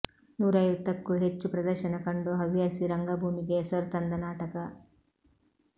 ನೂರೈವತ್ತಕ್ಕೂ ಹೆಚ್ಚು ಪ್ರದರ್ಶನ ಕಂಡು ಹವ್ಯಾಸಿ ರಂಗಭೂಮಿಗೆ ಹೆಸರು ತಂದ ನಾಟಕ